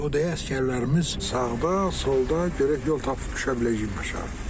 O da əsgərlərimiz sağda, solda görək yol tapıb düşə biləcək mi aşağı.